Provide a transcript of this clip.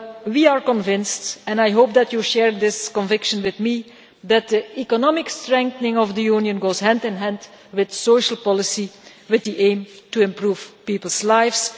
We are convinced and I hope that you share this conviction with me that the economic strengthening of the Union goes hand in hand with social policy, with the aim of improving people's lives.